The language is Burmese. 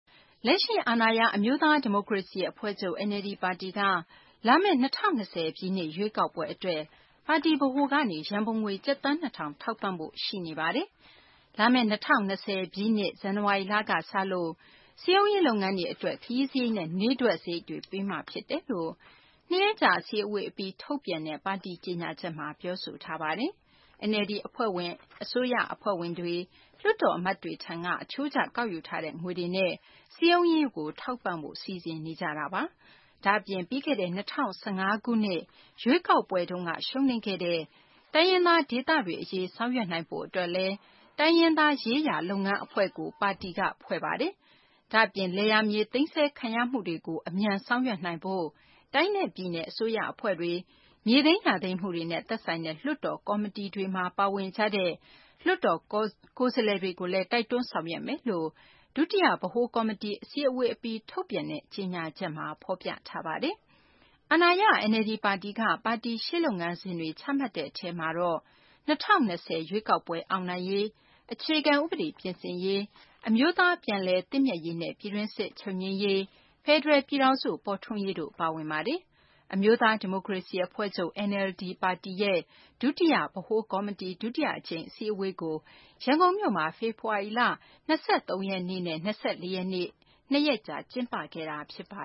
လက်ရှိ အာဏာရ အမျိုးသား ဒီမိုကရေစီ အဖွဲ့ချုပ် NLD ပါတီက လာမယ့် ၂၀၂၀ ပြည့်နှစ် ရွေးကောက်ပွဲ အတွက် ပါတီဗဟိုကနေ ရန်ပုံငွေ ကျပ်သန်း ၂ ထောင် ထောက်ပံ့ဖို့ ရှိနေပါတယ်။ လာမယ့် ၂၀၂၀ ပြည့်နှစ် ဇန်နဝါရီလက စလို့ စည်းရုံးရေး လုပ်ငန်းတွေ အတွက် ခရီးစာရိတ်နဲ့ နေ့တွက် စာရိတ်တွေ ပေးမှာ ဖြစ်တယ်လို့ ၂ ရက်ကြာ အစည်းအဝေး အပြီး ထုတ်ပြန်တဲ့ ပါတီ ကြေညာချက်မှာ ပြောဆိုထားပါတယ်။ NLD အဖွဲ့ဝင် အစိုးရ အဖွဲ့ဝင်တွေ၊ လွှတ်တော် အမတ်တွေထံက အချိုးကျ ကောက်ယူထားတဲ့ ငွေတွေနဲ့ စည်းရုံးရေးကို ထောက်ပံ့ဖို့ စီစဉ်ထားတာပါ။ ဒါ့အပြင် ပြီးခဲ့တဲ့ ၂၀၁၅ ခုနှစ် ရွေးကောက်ပွဲ တုန်းက ရှုံးနိမ့်ခဲ့တဲ့ တိုင်းရင်းသားဒေသတွေ အရေး ဆောင်ရွက်နိုင်ဖို့ အတွက်လည်း တိုင်းရင်းသား ရေးရာ လုပ်ငန်း အဖွဲ့ကိုလည်း NLD က ဖွဲ့စည်းပါတယ်။ ဒါ့အပြင် လယ်ယာမြေ သိမ်းဆည်းခံရမှုတွေကို အမြန် ဆောင်ရွက်နိုင်ရေး အတွက် တိုင်းနဲ့ ပြည်နယ် အစိုးရ အဖွဲ့တွေ၊ မြေသိမ်း၊ ယာသိမ်းမှုတွေနဲ့ သက်ဆိုင်တဲ့ လွှတ်တော် ကော်မတီတွေမှာ ပါဝင်ကြတဲ့ လွှတ်တော် ကိုယ်စားလှယ်တွေ ကိုလည်း တိုက်တွန်းဆောင်ရွက်မယ်လို့ ဒုတိယ ဗဟိုကော်မတီ အစည်းအဝေးအပြီး ထုတ်ပြန်တဲ့ ကြေညာချက်မှာ ဖော်ပြထားပါတယ်။ အာဏာရ NLD ပါတီက ပါတီရှေ့လုပ်ငန်းစဉ်တွေ ချမှတ်တဲ့ အထဲမှာတော့ ၂၀၂၀ ရွေးကောက်ပွဲ အောင်နိုင်ရေး၊ အခြေခံ ဥပဒေ ပြင်ဆင်ရေး၊ အမျိုးသား ပြန်လည်သင့်မြတ်ရေးနဲ့ ပြည်တွင်းစစ် ချုပ်ငြိမ်းရေး၊ ဖယ်ဒရယ် ပြည်ထောင်စု ပေါ်ထွန်းရေးတို့လည်း ပါဝင်ပါတယ်။ အမျိုးသားဒီမိုကရေစီအဖွဲ့ချုပ် NLD ပါတီရဲ့ ဒုတိယ ဗဟိုကော်မတီ ဒုတိယ အကြိမ် အစည်းအဝေးကို ရန်ကုန်မြို့မှာ ဖေဖော်ဝါရီလ ၂၃ ရက်နဲ့ ၂၄ ရက် နေ့ အထိ နှစ်ရက်ကြာကျင်းပခဲ့တာပါ